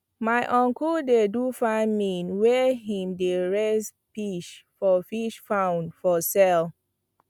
my uncle dey do farming where him dey raise pish for fish pond for sale